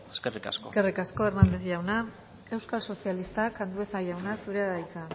eskerrik asko eskerrik asko hernández jauna euskal sozialistak andueza jauna zurea da hitza